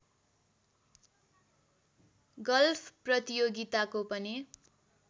golf प्रतियोगिताको पनि